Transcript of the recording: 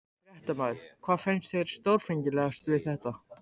Fréttamaður: Hvað finnst þér stórfenglegast við þetta?